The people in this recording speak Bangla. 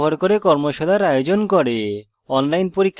tutorials ব্যবহার করে কর্মশালার আয়োজন করে